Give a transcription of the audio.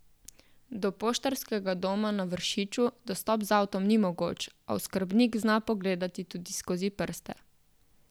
Do Poštarskega doma na Vršiču dostop z avtom ni mogoč, a oskrbnik zna pogledati tudi skozi prste.